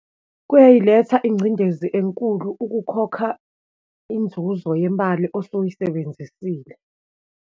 Kuyayiletha ingcindezi enkulu ukukhokha inzuzo yemali osuyisebenzisile.